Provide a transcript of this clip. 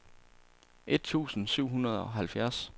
et tusind syv hundrede og halvfjerds